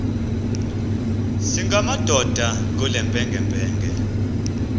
singamadoda kule mpengempenge